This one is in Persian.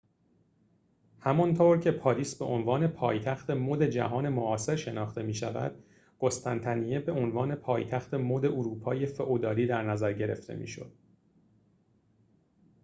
همانطور که پاریس به‌عنوان پایتخت مد جهان معاصر شناخته می‌شود قسطنطنیه به عنوان پایتخت مد اروپای فئودالی در نظر گرفته می‌شد